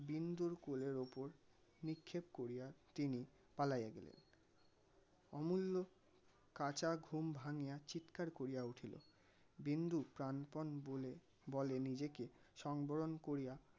বিন্দুর কোলের ওপর নিক্ষেপ করিয়া তিনি পালাইয়া গেলেন অমুল্য কাঁচা ঘুম ভাঙ্গিয়া চিৎকার করিয়া উঠিল. বিন্দু প্রানপণ বলে বলে নিজেকে সম্বরণ করিয়া